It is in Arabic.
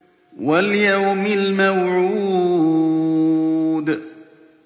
وَالْيَوْمِ الْمَوْعُودِ